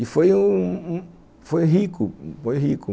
E foi rico, foi rico.